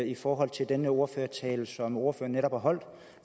i forhold til den ordførertale som ordføreren netop har holdt